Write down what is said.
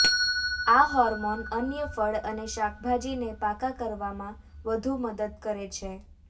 આ હોર્મોન અન્ય ફળ અને શાકભાજીને પાકા કરવામાં વધુ મદદ કરે છે